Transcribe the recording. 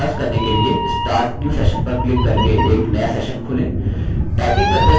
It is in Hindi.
typing का अभ्यास करने के लिए start new session पर click करके एक new session खोलें